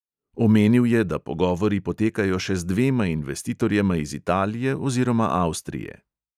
Omenil je, da pogovori potekajo še z dvema investitorjema iz italije oziroma avstrije.